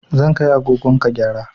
Zan kai agogon ka gyara